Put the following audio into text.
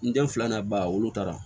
N den fila n'a ba wolo